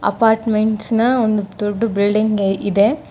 Apartments ನ ಒಂದು ದೊಡ್ಡು ಬಿಲ್ಡಿಂಗ್ ಇದೆ.